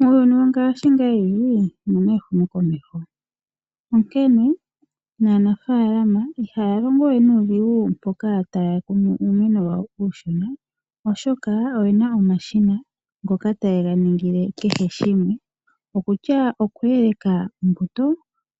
Muuyuni wongashingeyi omuna ehumokomeho onkene naanafaalama ihaya longo we nuudhigu mpoka taya kunu uumeno wawo uushona oshoka oyena omashina ngoka tageya ningile kehe shimwe okutya oku eleka ombuto,